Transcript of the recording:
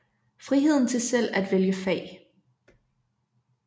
Friheden til selv at vælge fag